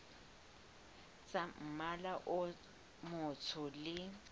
tsa mmala o motsho le